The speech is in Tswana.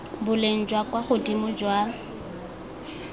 boleng jwa kwa godimo jwa